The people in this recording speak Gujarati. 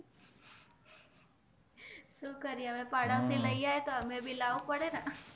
પાડોશી લૈઆવે તો આમેભી લાવું પડે ને